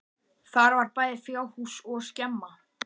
Þar var bæði fjárhús og skemma.